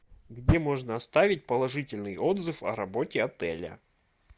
где можно оставить положительный отзыв о работе отеля